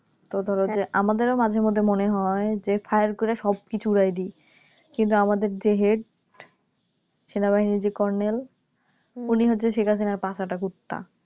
ধরো যে আমাদের ও মাঝেমধ্যে মনে হয় যে Fire করে সবকিছু উড়িয়ে দি কিন্তু আমাদের যে Head সেনাবাহিনীর যে কর্নেল উনি হচ্ছে Sheikhhasina র পা চাটা কুত্তা